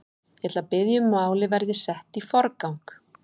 Ég ætla að biðja um að málið verði sett í forgang.